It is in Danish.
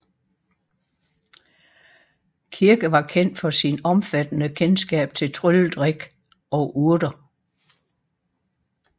Kirke var kendt for sin omfattende kendskab til trylledrik og urter